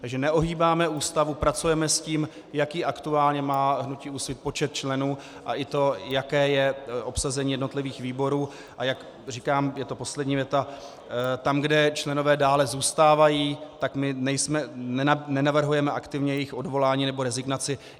Takže neohýbáme Ústavu, pracujeme s tím, jaký aktuálně má hnutí Úsvit počet členů a i to, jaké je obsazení jednotlivých výborů, a jak říkám, je to poslední věta, tam, kde členové dále zůstávají, tak my nenavrhujeme aktivně jejich odvolání nebo rezignaci.